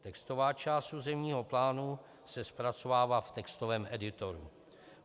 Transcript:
Textová část územního plánu se zpracovává v textovém editoru.